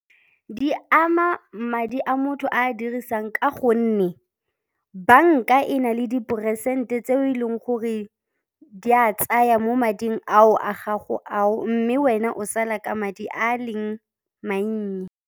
Di ama madi a motho a dirisang ka gonne banka e na le diporesente tse o e leng gore di a tsaya mo mading ao a gago ao mme wena o sala ka madi a leng mannye.